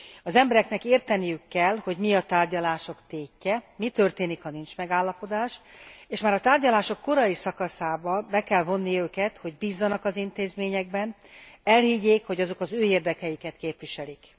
Az embereknek érteniük kell, hogy mi a tárgyalások tétje, hogy mi történik, ha nincs megállapodás, és már a tárgyalások korai szakaszában be kell vonni őket, hogy bízzanak az intézményekben, és elhiggyék, hogy azok az ő érdekeiket képviselik.